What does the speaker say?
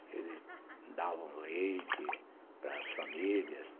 Eles davam leite para as famílias.